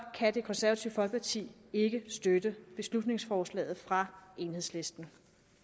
kan det konservative folkeparti ikke støtte beslutningsforslaget fra enhedslisten